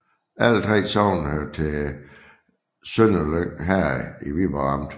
Alle 3 sogne hørte til Sønderlyng Herred i Viborg Amt